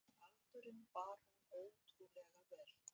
Aldurinn bar hún ótrúlega vel.